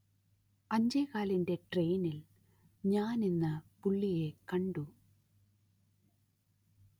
അഞ്ചേകാലിന്റെ ട്രെയിനിൽ ഞാൻ ഇന്ന് പുള്ളിയെ കണ്ടു